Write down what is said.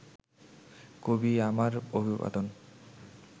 কবি আমার অভিবাদন